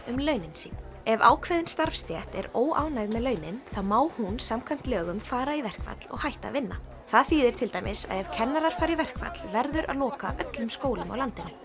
um launin sín ef ákveðin starfstétt er óánægð með launin þá má hún samkvæmt lögum fara í verkfall og hætta að vinna það þýðir til dæmis að ef kennarar fara í verkfall verður að loka öllum skólum á landinu